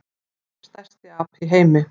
Hver er stærsti api í heimi?